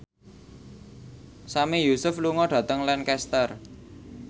Sami Yusuf lunga dhateng Lancaster